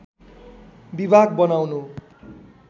विभाग बनाउनु